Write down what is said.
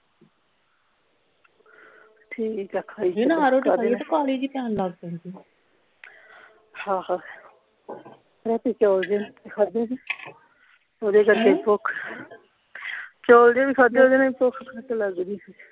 ਠੀਕ ਆ ਖਾਈ ਕਾਹਲੀ ਜੇਹੀ ਪੈਣ ਲੱਗ ਪੈਂਦੀ ਆਹੋ ਰਾਤੀ ਚੌਲ ਜੇਹੇ ਖਾਦੇ ਸੀ ਉਹਦੇ ਕਰਕੇ ਭੁੱਖ ਚੌਲ ਜਿਹੇ ਵੀ ਖਾਦੇ ਉਹਦੇ ਨਾਲ ਭੁੱਖ ਘੱਟ ਲੱਗਦੀ